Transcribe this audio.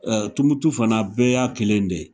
Tumutu fana bɛɛ y'a kelen de